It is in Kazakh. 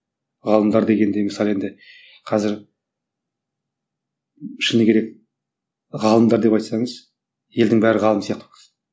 ғалымдар дегенде мысалы енді қазір шыны керек ғалымдар деп айтсаңыз елдің бәрі ғалым сияқты